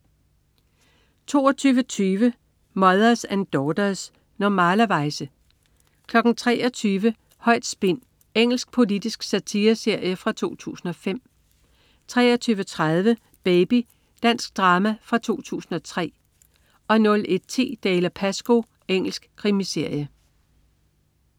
22.20 Mothers and Daughters. Normalerweize 23.00 Højt spin. Engelsk politisk satireserie fra 2005 23.30 Baby. Dansk drama fra 2003 01.10 Dalziel & Pascoe. Engelsk krimiserie